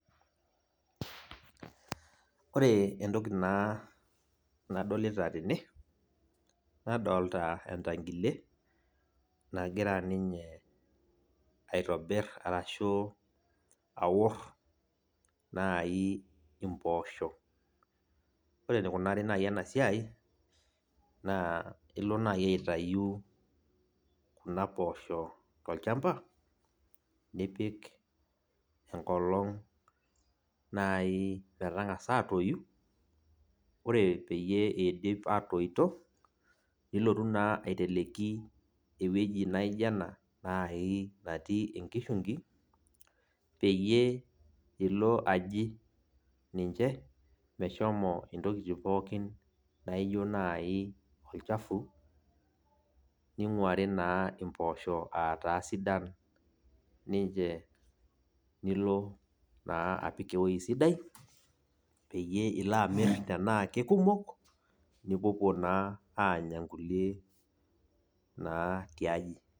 Ore entoki naa nadolita tene, nadolta entankile, nagira ninye aitobir arashu awor nai impoosho. Ore enikunari nai enasiai, naa ilo nai aitayu kuna poosho tolchamba, nipik enkolong nai metang'asa atoyu, ore peyie idip atoito, nilotu naa aiteleki ewueji naijo ena nai natii enkishungi, peyie ilo aji ninche meshomo intokiting pookin naijo nai olchafu, ning'uari naa impoosho ataa sidan ninche nilo naa apik ewoi sidai, peyie ilo amir tenaa kelumok, nipuopuo naa anya nkulie naa tiaji.